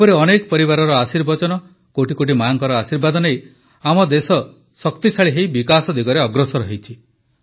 ଏପରି ଅନେକ ପରିବାରର ଆଶୀର୍ବଚନ କୋଟିକୋଟି ମାଆଙ୍କର ଆଶୀର୍ବାଦ ନେଇ ଆମ ଦେଶ ଶକ୍ତିଶାଳୀ ହୋଇ ବିକାଶ ଦିଗରେ ଅଗ୍ରସର ହେଉଛି